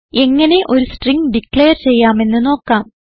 എങ്ങനെ ഒരു string declare ചെയ്യാമെന്ന് നോക്കാം